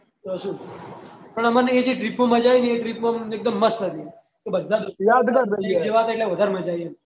તે શું પણ અમ્મ્નને એ જે trip માં મજા આયી ને એ જે trip માં એ બધા થા એટલે વધાર મજા આયી